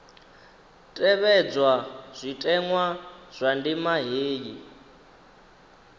tevhedzwa zwitenwa zwa ndima heyi